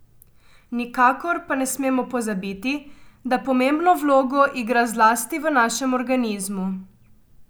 Nikakor pa ne smemo pozabiti, da pomembno vlogo igra zlasti v našem organizmu.